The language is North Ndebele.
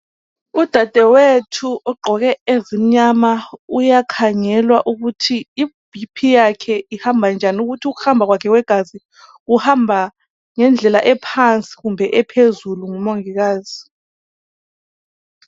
Udadewethu ugqoke ezimnyama uyakhangelwa ukuthi ibp yakhe ihamba njani, ukuhamba kwakhe kwegazi kuhamba ngendlela ephansi kumbe ephezulu ngumongikazi.